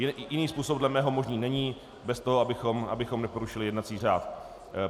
Jiný způsob dle mého možný není bez toho, abychom neporušili jednací řád.